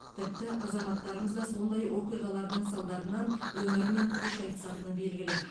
тіпті азаматтарымыз да сондай оқиғалардың салдарынан өмірімен қош айтысатыны белгілі